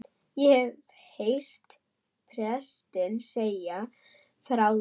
Ég hef heyrt prestinn segja frá því í